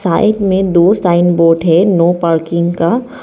Side में दो sign board है नो पार्किंग का।